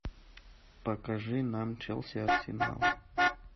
покажи нам челси арсенал